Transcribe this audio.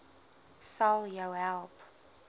sal jou help